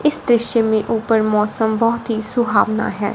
इस दृश्य में ऊपर मौसम बहोत ही सुहावना है।